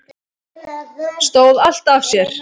Stóð allt af sér